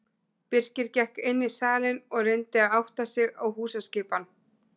Birkir gekk inn í salinn og reyndi að átta sig á húsaskipan.